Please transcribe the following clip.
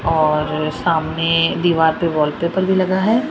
और सामने दीवार पे वॉलपेपर भी लगा है।